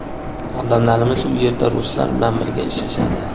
Odamlarimiz u yerda ruslar bilan birga ishlashadi.